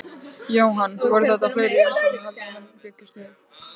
Jóhann, voru þetta fleiri umsóknir heldur en menn bjuggust við?